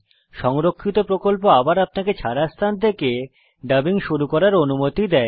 সংরক্ষিত প্রকল্প আবার আপনাকে ছাড়া স্থান থেকে ডাবিং শুরু করার অনুমতি দেয়